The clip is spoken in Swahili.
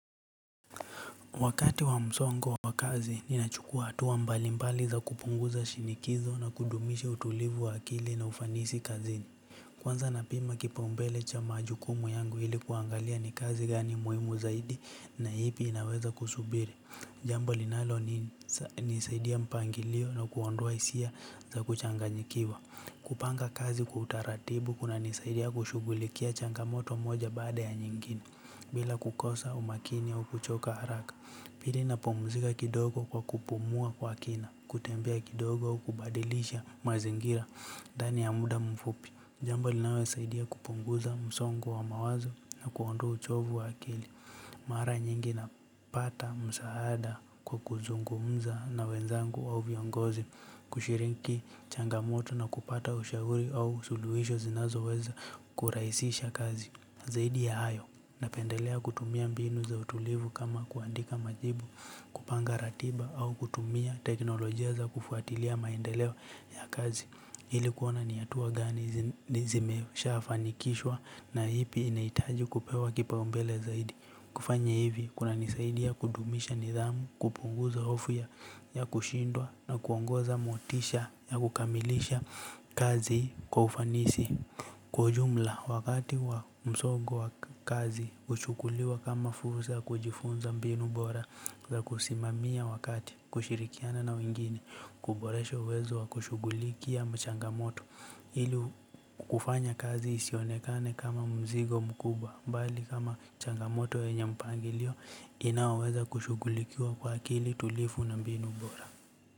Wakati wa msongo wa kazi, ninachukua hatua mbalimbali za kupunguza shinikizo na kudumisha utulivu wa akili na ufanisi kazini. Kwanza napima kipaumbele cha majukumu yangu ili kuangalia ni kazi gani muhimu zaidi na ipi inaweza kusubiri. Jambo linalonisaidia mpangilio na kuondoa hisia za kuchanganyikiwa. Kupanga kazi kwa utaratibu kunanisaidia kushughulikia changamoto moja baada ya nyingine. Bila kukosa, umakini au kuchoka haraka. Pili napumzika kidogo kwa kupumua kwa kina, kutembea kidogo kubadilisha mazingira ndani ya muda mfupi. Jambo linalonisaidia kupunguza msongo wa mawazo na kuondoa uchovu wa akili. Mara nyingi napata msaada kwa kuzungumza na wenzangu au viongozi, kushiriki changamoto na kupata ushauri au suluhisho zinazoweza kurahisisha kazi. Zaidi ya hayo, napendelea kutumia mbinu za utulivu kama kuandika majibu kupanga ratiba au kutumia teknolojia za kufuatilia maendeleo ya kazi. Ili kuona ni hatua gani zimeshafanikishwa na ipi inahitaji kupewa kipaumbele zaidi. Kufanya hivi, kunanisaidia kudumisha nidhamu, kupunguza hofu ya kushindwa na kuongoza motisha ya kukamilisha kazi kwa ufanisi. Kwa ujumla wakati wa msongo wa kazi huchukuliwa kama fursa ya kujifunza mbinu bora za kusimamia wakati kushirikiana na wengine kuboresha uwezo wa kushughulikia changamoto hili kufanya kazi isionekane kama mzigo mkubwa bali kama changamoto yenye mpangilio inaoweza kushughulikiwa kwa akili tulifu na mbinu bora.